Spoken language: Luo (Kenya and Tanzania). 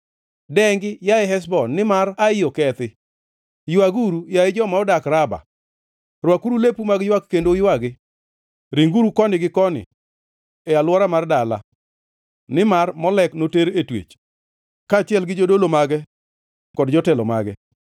“Dengi, yaye Heshbon, nimar Ai okethi! Ywaguru, yaye joma odak Raba! Rwakuru lepu mag ywak kendo uywagi; ringuru koni gi koni, e alwora mar dala, nimar Molek noter e twech, kaachiel gi jodolo mage kod jotelo mage.